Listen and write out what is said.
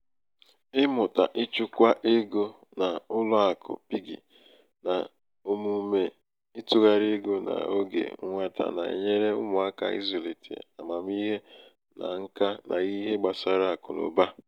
ịmụta ichukwa ego na ụlọ akụ piggi na omume ịtụgharị ego n’oge nwata na-enyere ụmụaka ịzụlite amamihe na nka n’ihe gbasara akụ na ụba.